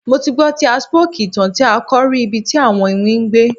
Mo ti gbọ ti a spooky itan ti a ọkọ rì ibi ti awọn iwin gbé